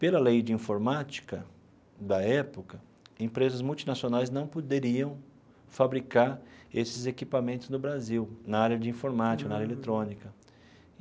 Pela lei de informática da época, empresas multinacionais não poderiam fabricar esses equipamentos no Brasil, na área de informática, na área eletrônica.